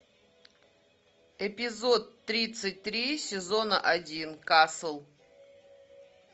эпизод тридцать три сезона один касл